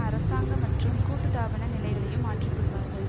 அரசாங்க மற்றும் கூட்டு தாபன நிலைகளையும் மாற்றிக்கொள்வார்கள்